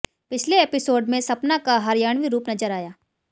पिछले एपिसोड में सपना का हरियाणवी रूप नजर आया